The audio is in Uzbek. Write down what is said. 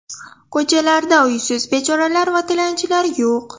Ko‘chalarda uysiz bechoralar va tilanchilar yo‘q.